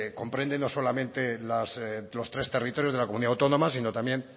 comprende no solamente los tres territorios de la comunidad autónoma sino también